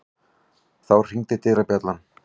Þá hringdi dyrabjallan.